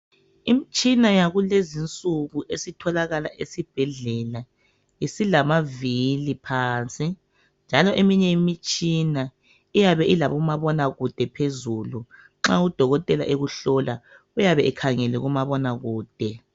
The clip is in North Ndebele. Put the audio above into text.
Imitshina yakulezinsuku esitholakala esibhedlela isilamavili phansi njalo eminye imitshina iyabe ilabomabonakude phezulu nxa udokotela ekuhlola uyabe ekhangele kumabonakude.